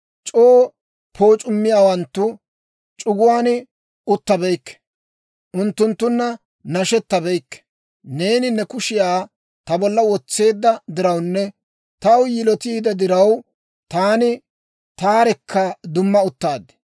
C'oo pooc'ummiyaawanttu c'uguwaan uttabeykke; unttunttunna nashetabeykke. Neeni ne kushiyaa ta bolla wotseedda dirawunne taw yilotiide diraw, taani taarekka dumma uttaad.